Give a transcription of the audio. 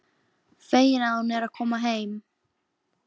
Fegin að hún er að koma heim.